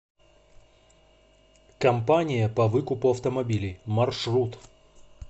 компания по выкупу автомобилей маршрут